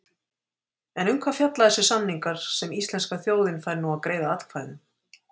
En um hvað fjalla þessir samningar sem íslenska þjóðin fær nú að greiða atkvæði um?